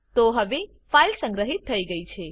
તો હવે ફાઈલ સંગ્રહિત થઇ ગયી છે